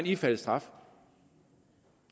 ifalde straf